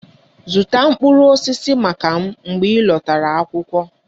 Zụta mkpụrụ osisi maka m mgbe ị lọtara akwụkwọ!